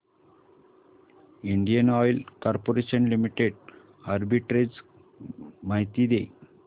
Indian oil corporation limited arbitrage माहिती दे